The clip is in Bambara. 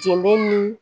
Jɛnbe ni